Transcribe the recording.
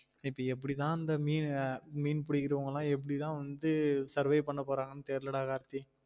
இப்ப எப்புடி தான் இந்த் மீன் ஆஹ் மீன் பிடிக்கிறவங்கலாம் எப்டி தான் வந்து survey பன்ன போறாங்கனு தெர்ல டா கார்த்தி